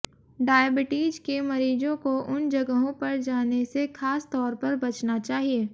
diabetes के मरीजों को उन जगहों पर जाने से खास तौर पर बचना चाहिए